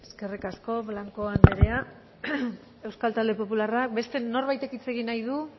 eskerrik asko blanco anderea euskal talde popularra beste norbaitek hitz egin nahi du